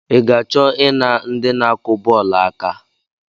I ga-achọ I na ndị na-akụ bọọlụ aka?